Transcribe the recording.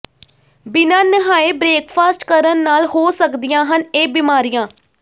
ਬਿਨ੍ਹਾਂ ਨਹਾਏ ਬ੍ਰੇਕਫਾਸਟ ਕਰਨ ਨਾਲ ਹੋ ਸਕਦੀਆਂ ਹਨ ਇਹ ਬਿਮਾਰੀਆਂ